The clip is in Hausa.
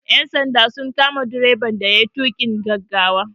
Ƴan sanda sun kama direban da yayi tuƙin gaggawa.